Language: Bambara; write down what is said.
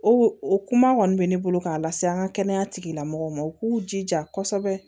O o kuma kɔni bɛ ne bolo k'a lase an ka kɛnɛya tigilamɔgɔw ma u k'u jija kosɛbɛ